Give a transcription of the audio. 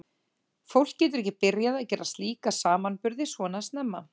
Fólk getur ekki byrjað að gera slíka samanburði svona snemma.